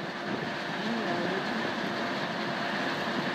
Ami awendi